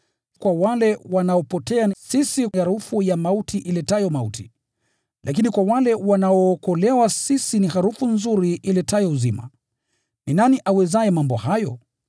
Kwa wale wanaopotea, sisi ni harufu ya mauti iletayo mauti; lakini kwa wale wanaookolewa, sisi ni harufu nzuri iletayo uzima. Ni nani awezaye mambo hayo?